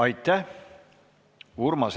Aitäh!